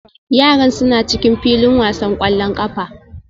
Yaran suna cikin filin wasan ƙwallon ƙafa